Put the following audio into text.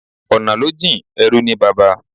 Ọ̀nà ló jìn, ẹrú ní baba